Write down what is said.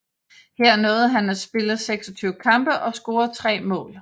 Her nåede han at spille 26 kampe og score 3 mål